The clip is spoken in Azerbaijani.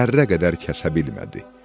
Zərrə qədər kəsə bilmədi.